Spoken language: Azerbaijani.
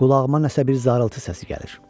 Qulağıma nəsə bir zarıltı səsi gəlir.